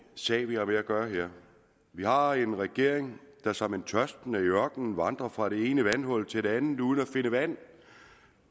sag vi har med at gøre her vi har en regering der som en tørstende i ørkenen vandrer fra det ene vandhul til det andet uden at finde vand